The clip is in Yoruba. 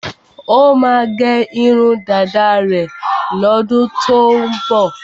Ó máa gẹ irun dáda rẹ̀ lọ́dún tó ń bọ̀.